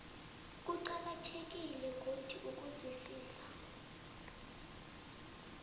kuqakathekile godu ukuzwisisa